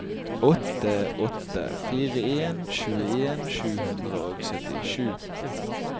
åtte åtte fire en tjueen sju hundre og syttisju